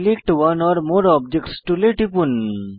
select one or more objects টুলে টিপুন